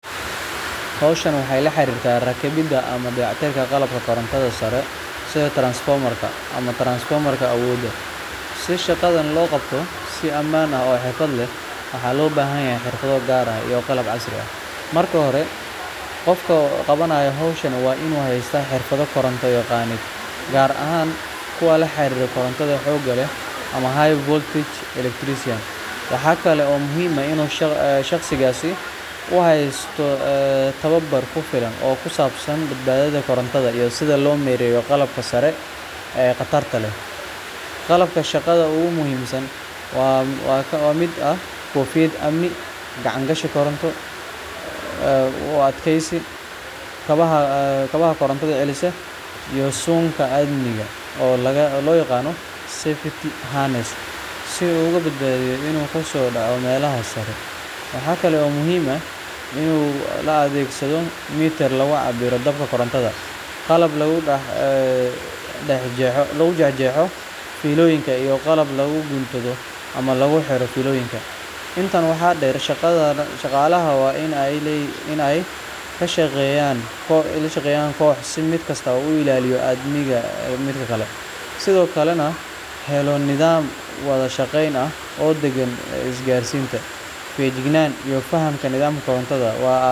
Hawshan waxay la xiriirtaa rakibidda ama dayactirka qalabka korontada sare sida transfomar-ka ama transformer-ka awoodda. Si shaqadan loo qabto si ammaan ah oo xirfad leh, waxaa loo baahan yahay xirfado gaar ah iyo qalab casri ah. Marka hore, qofka qabanaya hawshan waa inuu haystaa xirfado koronto-yaqaaneed, gaar ahaan kuwa la xiriira koronto xoog leh ama high voltage electrician. Waxaa kale oo muhiim ah in shaqsigaasi uu haysto tababar ku filan oo ku saabsan badbaadada korontada iyo sida loo maareeyo qalabka sare ee khatarta leh. Qalabka shaqada ugu muhiimsan waxaa ka mid ah: koofiyad amni, gacan-gashi koronto u adkaysta, kabaha koronto celisa, iyo suunka amniga oo loo yaqaan safety harness si uu uga badbaado inuu ka soo dhaco meelaha sare. Waxaa kale oo muhiim ah in la adeegsado mitir lagu cabbiro danabka korontada, qalab lagu jeexjeexo fiilooyinka, iyo qalab lagu guntado ama lagu xiro fiilooyinka cusub. Intaa waxaa dheer, shaqaalaha waa in ay la shaqeeyaan koox si mid kasta uu u ilaaliyo amniga midka kale, sidoo kalena loo helo nidaam wada shaqayn ah oo degan. Isgaarsiinta, feejignaanta iyo fahamka nidaamka korontada waa aasaas